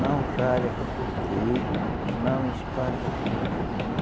não ralha com o filho dele, não espanca filho dele, não.